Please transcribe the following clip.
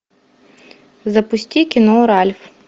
запусти кино ральф